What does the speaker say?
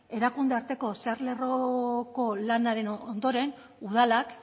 erakunde arteko zeharlerroko lanaren ondoren udalak